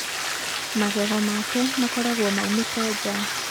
magego make makoragwo maumĩte nja